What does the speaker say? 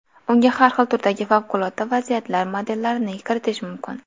Unga har xil turdagi favqulodda vaziyatlar modellarini kiritish mumkin.